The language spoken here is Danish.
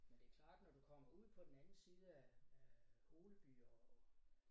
Men det er klart når du kommer ud på den anden side af af Holeby og